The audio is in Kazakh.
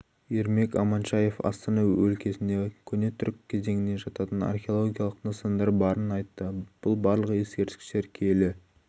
ермек аманшаев астана өлкесінде көне түрік кезеңіне жататын археологиялық нысандар барын айтты бұл барлық ескерткіштер киелі